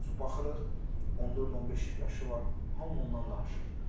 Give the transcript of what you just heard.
Misal üçün baxırıq 14-15 yaşı var, hamı ondan danışır.